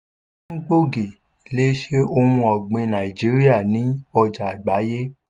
àlékún gbòógì lè ṣe ohun ọ̀gbìn nàìjíríà ní ọjà àgbáyé.